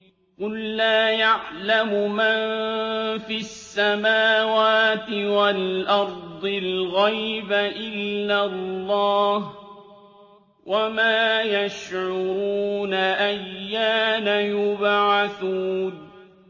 قُل لَّا يَعْلَمُ مَن فِي السَّمَاوَاتِ وَالْأَرْضِ الْغَيْبَ إِلَّا اللَّهُ ۚ وَمَا يَشْعُرُونَ أَيَّانَ يُبْعَثُونَ